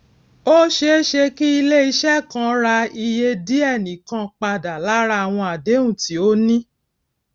ó séese kí iléise kan rà iye díe nìkan padà lára àwọn àdéhùn tí ó ní